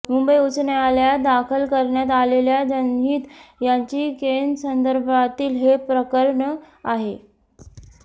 मुंबई उच्च न्यायालयात दाखल करण्यात आलेल्या जनहित याचिकेसंदर्भातील हे प्रकरण आहे